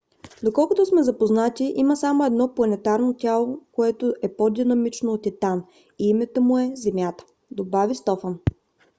доколкото сме запознати има само едно планетарно тяло което е по-динамично от титан и името му е земята, добави стофан